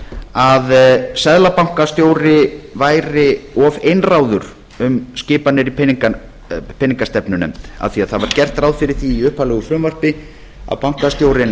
að seðlabankastjóri væri of of einráður um skipanir í peningastefnunefnd af því að það var gert ráð fyrir því í upphaflegu frumvarpi að bankastjórinn